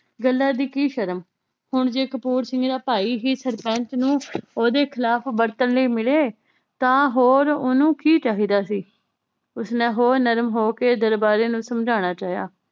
ਗੱਲਾਂ ਦੀ ਕੀ ਸ਼ਰਮ। ਹੁਣ ਜੇ ਕਪੂਰ ਸਿੰਘ ਦਾ ਭਾਈ ਹੀ ਸਰਪੰਚ ਨੂੰ ਓਹਦੇ ਖਿਲਾਫ ਵਰਤਣ ਲਈ ਮਿਲੇ ਤਾਂ ਹੋਰ ਓਹਨੂੰ ਕੀ ਚਾਹੀਦਾ ਸੀ। ਉਸਨੇ ਹੋਰ ਨਰਮ ਹੋ ਕੇ ਦਰਬਾਰੀਆਂ ਨੂੰ ਸਮਝਾਣਾ ਚਾਹਿਆ।